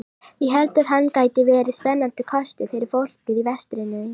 Ég held að hann gæti verið spennandi kostur fyrir fólkið í vestrinu.